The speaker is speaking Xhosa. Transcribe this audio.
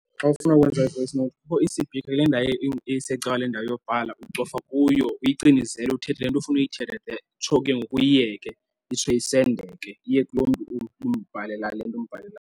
Xa ufuna ukwenza i-voice note kukho isipikha kule ndawo isecankwan' kwale ndawo yobhala, ucofa kuyo uyicinezele uthethe le nto ufuna uyithetha utsho ke ngoku uyiyeke itsho isendeke iye kulo mntu umbhalela le nto umbhalelayo.